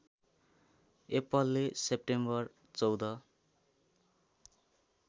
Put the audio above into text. एप्पलले सेप्टेम्बर १४